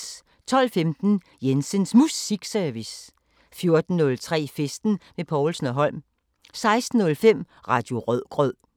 12:15: Jensens Musikservice 14:03: Festen med Povlsen & Holm 16:05: Radio Rødgrød